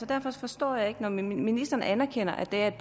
derfor forstår jeg ikke når ministeren anerkender at der er et